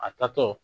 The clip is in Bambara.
A tatɔ